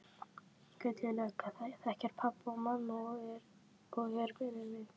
Gulli lögga þekkir pabba og mömmu og er vinur minn.